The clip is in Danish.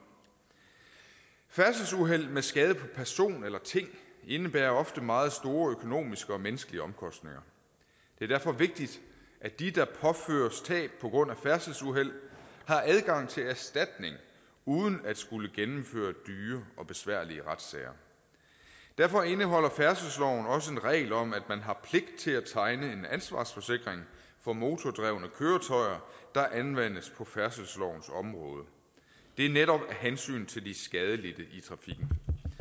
færdselsuheld med skade på person eller ting indebærer ofte meget store økonomiske og menneskelige omkostninger det er derfor vigtigt at de der påføres tab på grund af færdselsuheld har adgang til erstatning uden at skulle gennemføre dyre og besværlige retssager derfor indeholder færdselsloven også en regel om at man har pligt til at tegne en ansvarsforsikring for motordrevne køretøjer der anvendes på færdselslovens område det er netop af hensyn til de skadelidte i trafikken